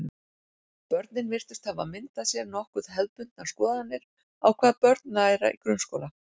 Börnin virtust hafa myndað sér nokkuð hefðbundnar skoðanir á hvað börn læra í grunnskóla.